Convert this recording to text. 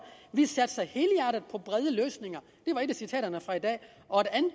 at på brede løsninger det var et af citaterne fra i dag og